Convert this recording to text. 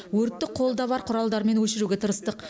өртті қолда бар құралдармен өшіруге тырыстық